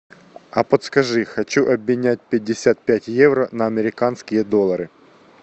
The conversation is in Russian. а подскажи хочу обменять пятьдесят пять евро на американские доллары